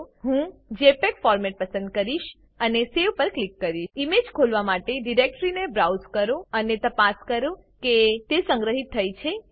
001059 001004 હું JPEG format પસંદ કરીશ અને સવે પર ક્લિક કરીશ ઈમેજ ખોલવા માટે ડીરેક્ટરીને બ્રાઉઝ કરો અને તપાસ કરો કે તે સંગ્રહિત થઇ છે કે નહિ